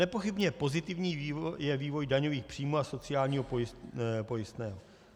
Nepochybně pozitivní je vývoj daňových příjmů a sociálního pojistného.